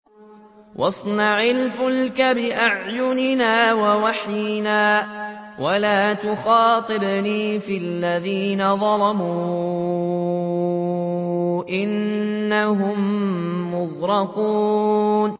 وَاصْنَعِ الْفُلْكَ بِأَعْيُنِنَا وَوَحْيِنَا وَلَا تُخَاطِبْنِي فِي الَّذِينَ ظَلَمُوا ۚ إِنَّهُم مُّغْرَقُونَ